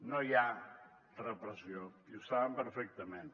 no hi ha repressió i ho saben perfectament